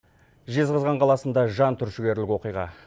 жезқазған қаласында жантүршігерлік оқиға